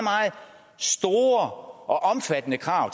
store og omfattende krav